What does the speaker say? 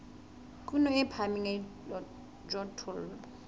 kuno e phahameng ya dijothollo